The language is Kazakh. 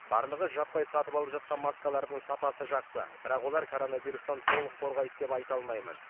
барлығы жаппай сатып алып жатқан маскалардың сапасы жақсы бірақ олар коронавирустан толық қорғайды деп айта алмаймын